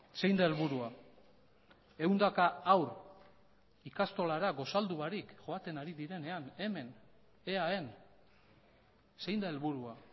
zein da helburua ehundaka haur ikastolara gosaldu barik joaten ari direnean hemen eaen zein da helburua